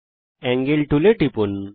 angle tool এ টিপুন